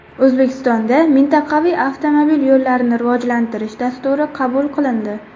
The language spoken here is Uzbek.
O‘zbekistonda Mintaqaviy avtomobil yo‘llarini rivojlantirish dasturi qabul qilindi.